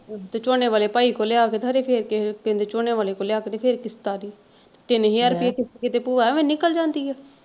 ਤੇ ਝੋਨੇ ਵਾਲੇ ਭਾਈ ਕੋਲ ਲਿਆ ਕ ਕਿਸੇ ਦੇ ਝੋਨੇ ਵਾਲੇ ਕੋਲ ਲਿਆ ਕ ਤੇ ਫਿਰ ਕਿਸ਼ਤ ਤਾਰੀ, ਤਿੰਨ ਹਜ਼ਾਰ ਰੁਪਇਆ ਕਿਸ਼ਤ ਭੂਆ ਐਵੇਂ ਨਿਕਲ ਜਾਂਦੀ ਆ।